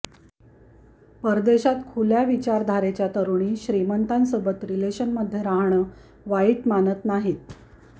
परदेशात खुल्या विचारधारेच्या तरूणी श्रीमंतांसोबत रिलेशनमध्ये राहणं वाईट मानत नाहीत